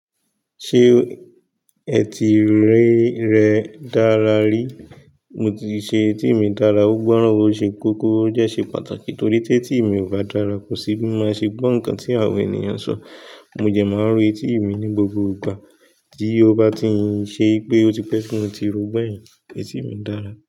Ṣé etí rẹ dára rí? Mo ti ṣe etí mi dára. Ó gbọ́ràn, ó ṣe kókó, ó dẹ́ ṣe pàtàkì torí tí etí mi ò bá dára, kò sí bí maa ṣe máa ṣe gbọ́ nǹkan tí àwọn ènìyàn ń sọ. Mo dẹ máa ń ro etí mi ní gbogbo ìgbà. Tí ó bá ti ń ṣe pé ó ti pẹ́ ti mo ti ro gbẹ̀yin, etí mi dára.